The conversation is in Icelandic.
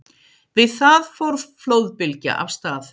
Við það fór flóðbylgja af stað.